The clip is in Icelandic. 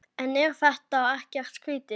En er þetta ekkert skrýtið?